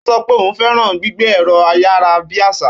Ó sọ pé òun fẹ́ràn gbígbé ẹ̀rọ-ayárabíàsá.